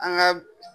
An ka